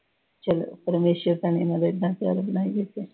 ਚਲੋ ਪਰਮੇਸ਼ਰ ਬਣਾਈ ਰੱਖੇ।